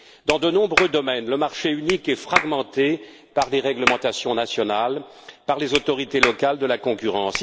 Dans de nombreux domaines, le marché unique est fragmenté par des réglementations nationales, par les autorités locales de la concurrence.